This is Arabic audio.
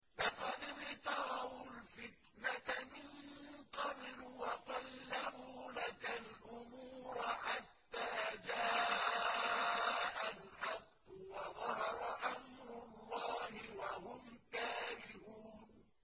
لَقَدِ ابْتَغَوُا الْفِتْنَةَ مِن قَبْلُ وَقَلَّبُوا لَكَ الْأُمُورَ حَتَّىٰ جَاءَ الْحَقُّ وَظَهَرَ أَمْرُ اللَّهِ وَهُمْ كَارِهُونَ